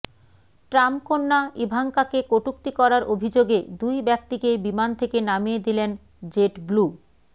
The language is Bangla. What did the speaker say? ট্রাম্প কন্যা ইভাঙ্কাকে কটূক্তি করার অভিযোগে দুই ব্যক্তিকে বিমান থেকে নামিয়ে দিলেন জেটব্লু